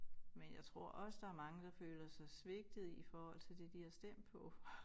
Men jeg tror også der mange der føler sig svigtede i forhold til det de har stemt på